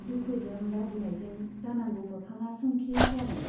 दुखुजों लाजिनायजों जानांगौ मोखाङा सोमखे जादों।